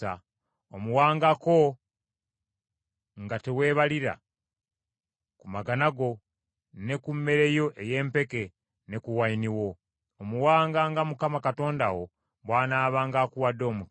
Omuwangako, nga teweebalira, ku magana go, ne ku mmere yo ey’empeke, ne ku wayini wo. Omuwanga nga Mukama Katonda wo bw’anaabanga akuwadde omukisa.